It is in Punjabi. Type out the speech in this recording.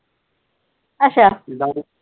ਅੱਛਾ